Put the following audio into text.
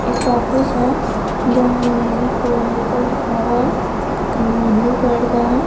एक ऑफिस है जहां लिखा हुआ हैं ब्लू कलर का है।